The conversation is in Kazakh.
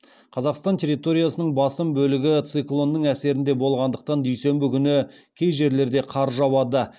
қазақстан территориясының басым бөлігі циклонның әсерінде болғандықтан дүйсенбі күні кей жерлерде қар жауады